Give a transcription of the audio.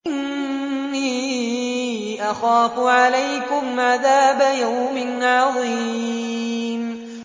إِنِّي أَخَافُ عَلَيْكُمْ عَذَابَ يَوْمٍ عَظِيمٍ